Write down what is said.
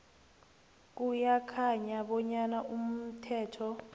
kuyakhanya bonyana umthetho